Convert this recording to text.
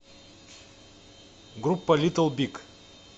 группа литл биг